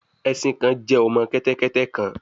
Ẹṣin kan jẹ ọmọ kẹtẹkẹtẹ kan